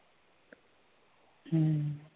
हम्म